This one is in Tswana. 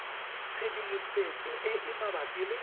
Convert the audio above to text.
tshedimosetso e e mabapi le